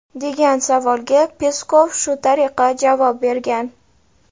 degan savolga Peskov shu tariqa javob bergan.